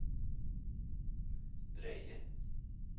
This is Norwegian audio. drøye